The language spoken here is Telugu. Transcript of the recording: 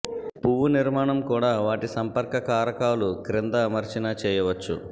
పువ్వు నిర్మాణం కూడా వాటి సంపర్క కారకాలు క్రింద అమర్చిన చేయవచ్చు